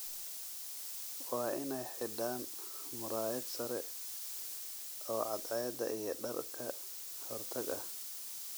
Waa inay xidhaan muraayad sare oo cadceedda iyo dhar ka hortag ah.